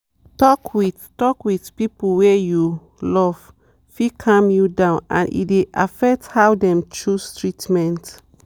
talk with talk with people wey you love fit calm you down and e dey affect how dem choose treatment.